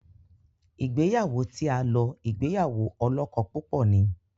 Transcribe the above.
Ìgbéyàwó tí a lò ìgbéyàwó olókó púpò ní.